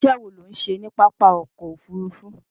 Iṣẹ́ wo ló ń ṣe ní pápá ọkọ̀ Òfurufú?